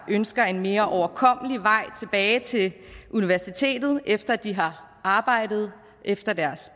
ønsker en mere overkommelig vej tilbage til universitetet efter at de har arbejdet efter deres